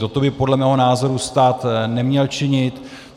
Toto by podle mého názoru stát neměl činit.